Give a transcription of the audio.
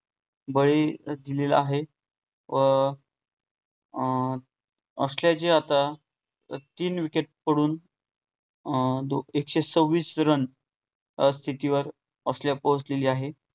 बळी दिलेला आहे. व अं ऑस्ट्रेलियाचे आता तीन wicket पडून अं एकशे सव्विस run या स्थितिवर ऑस्ट्रेलिया पोहोचलेली आहे.